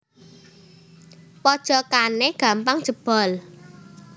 Pojokane gampang jebol